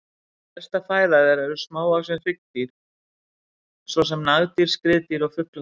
Helsta fæða þeirra eru smávaxin hryggdýr svo sem nagdýr, skriðdýr og fuglar.